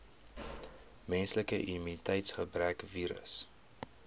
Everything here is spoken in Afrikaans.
menslike immuniteitsgebrekvirus